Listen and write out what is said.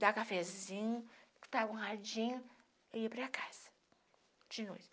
Dá cafezinho, escutava um rádinho e ia para casa de noite.